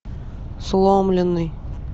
сломленный